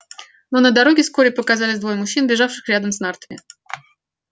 но на дороге вскоре показались двое мужчин бежавших рядом с нартами